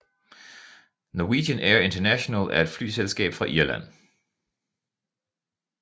Norwegian Air International er et flyselskab fra Irland